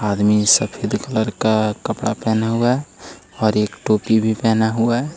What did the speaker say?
आदमी सफ़ेद कलर का कपड़ा पहना हुआ है और एक टोपी भी पहना हुआ है।